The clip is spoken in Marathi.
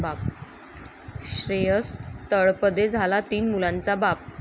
श्रेयस तळपदे झाला तीन मुलांचा बाप